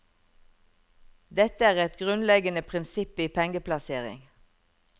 Dette er et grunnleggende prinsipp i pengeplassering.